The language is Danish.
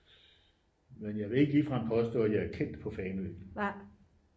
men jeg vil ikke ligefrem påstå at jeg er kendt på fanø